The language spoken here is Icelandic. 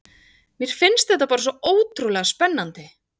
Mér fannst þetta bara svo ótrúlega spennandi.